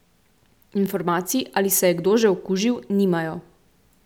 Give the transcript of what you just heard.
Informacij, ali se je kdo že okužil, nimajo.